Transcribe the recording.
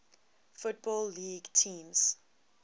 football league teams